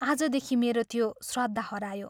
आजदेखि मेरो त्यो श्रद्धा हरायो।